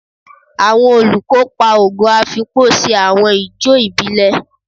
Awọn olukopa Ogo Afikpo ṣe awọn ijó ibile